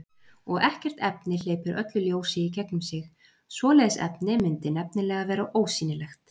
Og ekkert efni hleypir öllu ljósi í gegnum sig, svoleiðis efni mundi nefnilega vera ósýnilegt.